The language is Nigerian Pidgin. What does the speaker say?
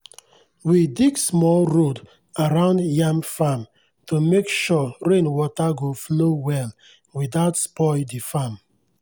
we dig small road around yam farm to make sure rain water go flow well without spoil the farm.